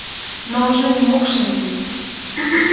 но уже не мог шевелиться